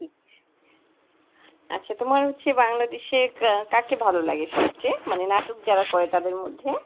আচ্ছা তোমার হচ্ছে বাংলাদেশের কাকে ভালো লাগে সবচেয়ে মানে নাটক যারা করে তাদের মধ্যে,